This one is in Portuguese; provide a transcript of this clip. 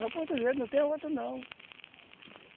É o português, não tem outro não.